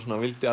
vildi